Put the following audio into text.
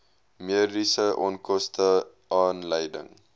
mediese onkoste aanleiding